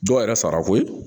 Dɔw yɛrɛ sara ko ye